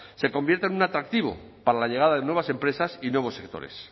se convierta en un atractivo para la llegada de nuevas empresas y nuevos sectores